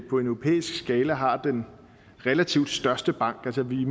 på en europæisk skala har den relativt største bank vi